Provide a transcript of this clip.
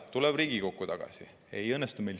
Tuleb ülesanne Riigikokku tagasi ja ikka ei õnnestu.